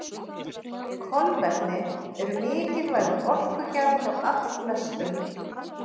Kolvetni eru mikilvægur orkugjafi hjá allflestum.